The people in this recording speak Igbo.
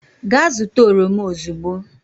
gaa zụta oroma ozugbo!